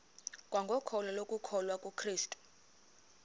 kwangokholo lokukholwa kukrestu